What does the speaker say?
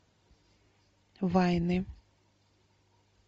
вайны